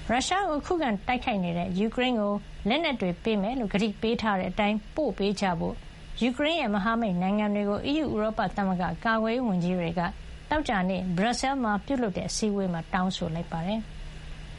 ရုရှားကို ခုခံတိုက်ခိုက်နေတဲ့ ယူကရိန်းကို လက်နက်တွေ ပေးမယ်လို့ ကတိပေးထားတဲ့ အတိုင်း ပို့ပေးကြဖို့ ယူကရိန်းရဲ့ မဟာမိတ်နိုင်ငံတွေကို အီးယူ ဥရောပသမဂ္ဂ ကာကွယ်ရေးဝန်ကြီးတွေက သောကြာနေ့ ဘရပ်ဆဲလ်မှာ ပြုလုပ်တဲ့ အစည်းဝေးမှာ တောင်းဆိုလိုက်ပါတယ်။